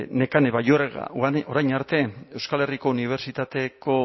nekane balluerka orain arte euskal herriko unibertsitateko